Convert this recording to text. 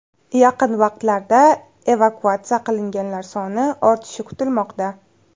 Yaqin vaqtlarda evakuatsiya qilinganlar soni ortishi kutilmoqda.